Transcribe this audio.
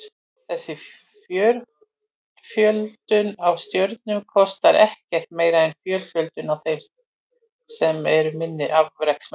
Þessi fjölföldun á stjörnum kostar ekkert meira en fjölföldun á þeim sem eru minni afreksmenn.